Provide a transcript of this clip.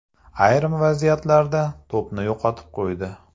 Ayrim vaziyatlarda to‘pni yo‘qotib qo‘ydi.